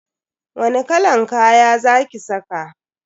Wani kalan kaya za ki saka?